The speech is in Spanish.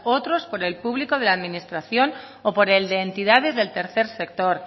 otros por el público de administración o por el de entidades del tercer sector